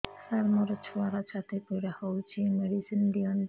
ସାର ମୋର ଛୁଆର ଛାତି ପୀଡା ହଉଚି ମେଡିସିନ ଦିଅନ୍ତୁ